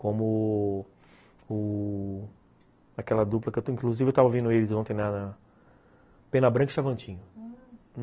Como...o... aquela dupla que eu... inclusive eu tava vendo eles ontem na... Pena Branca e Xavantinho, ah